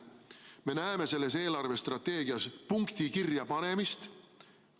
Me näeme selles eelarvestrateegias punkti kirjapanemist.